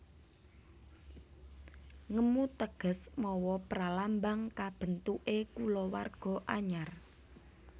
Ngemu teges mawa pralambang kabentuké kulawarga anyar